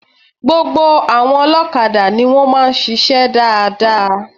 Gbogbo àwọn olókadà ni wón máa ń sisé dáadáa